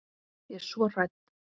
Ég er svo hrædd.